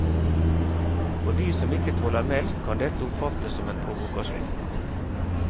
For de som ikke tåler melk kan dette oppfattes som en provokasjon.